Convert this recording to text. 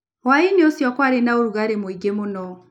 Hwaĩ-inĩ ũcio kwarĩ na ũrugarĩ mũingĩ mũno.